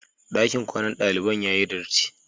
Ɗakin kwanan daliban ya yi dirti.